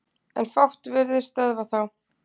En fátt virðist stöðva þá.